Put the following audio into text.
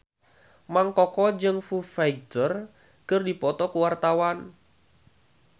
Mang Koko jeung Foo Fighter keur dipoto ku wartawan